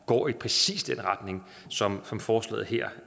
går i præcis den retning som som forslaget her